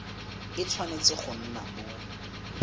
e tshwanetse go nna mo